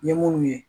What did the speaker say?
N ye munnu ye